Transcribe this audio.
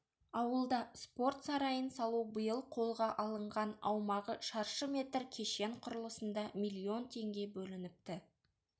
ауылда спорт сарайын салу биыл қолға алынған аумағы шаршы метр кешен құрылысына миллион теңге бөлініпті